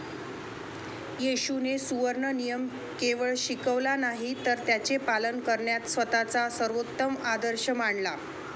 येशूने सुवर्ण नियम केवळ शिकवला नाही तर त्याचे पालन करण्यात स्वतःचा सर्वोत्तम आदर्श मांडला